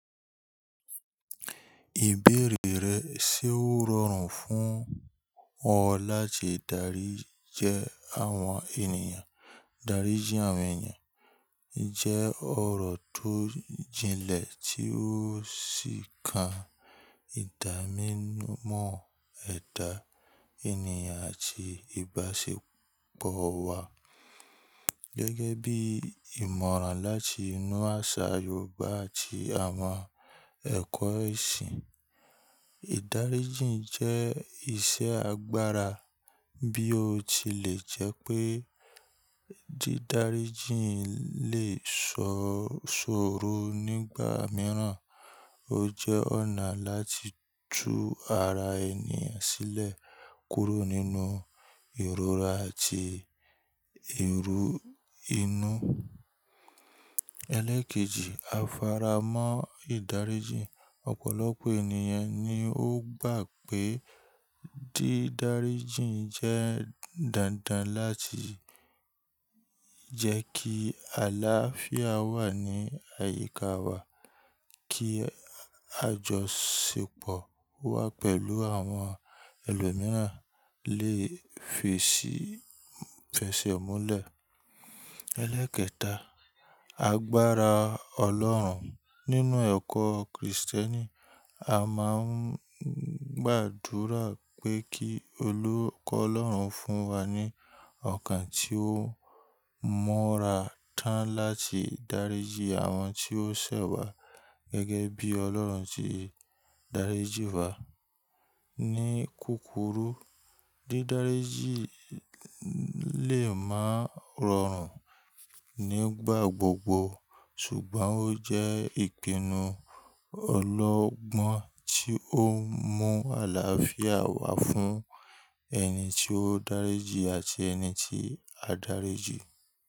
Ìbéèrè rẹ ṣe ó rọrùn fún ọ láti dárí jẹ àwọn ènìyàn? Dáríji àwọn ènìyàn jẹ́ ọ̀rọ̀ tó jinlẹ̀ tí ó sì kan ìdámọ́ ẹ̀dá ènìyàn àti ìbáṣepọ̀ wa. Gẹ́gẹ́ bí ìmọ̀ràn láti inú àṣà Yorùbá àti àwọn ẹ̀kọ́ ẹ̀sìn, ìdáríji jẹ́ iṣẹ́ agbára bí ó tilẹ̀ jẹ́ pé dídáríji lè ṣòro nígbà mìíràn. Ó jẹ́ ọ̀nà láti tú ara ènìyàn sílẹ̀ kúrò nínú ìrora àti èrò inú. Elékéjì, afárá mọ́ ìdáríji. Ọ̀pọ̀lọpọ̀ ènìyàn ni ó gbà pé dídáríji jẹ́ dandan láti jẹ́ kí àlàáfíà wà ní àyíká wa, kí àjọṣepọ̀ wà pẹ̀lú àwọn ẹlòmíràn lè fi ṣe fẹṣẹ̀ mọ́lẹ̀. Elékẹta, agbára Ọlọ́run. Nínú ẹ̀kọ́ Krìstẹ́nì, a máa ń gbàdúrà pé kí Olú kọ́ Ọlọ́run fún wa ní ọkàn tí ó mọ́ra tán láti dáríji àwọn tí ó ṣẹ̀ wá gẹ́gẹ́ bí Ọlọ́run tí dáríji wa. Ni kúkúrú, dídáríji lè máa rọrùn nígbà gbogbo, ṣùgbọ́n ó jẹ́ ìpinnu ọlọ́gbọ́n tí ó ń mú àlàáfíà wá fún ẹni tí ó dáríji àti ẹni tí a dáríji.